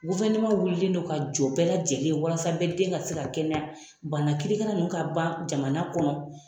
wulilen non ka jɔ bɛɛ lajɛlen ye walasa bɛɛ den ka se ka kɛnɛya, bana kirikara nunnu ka ban jamana kɔnɔ.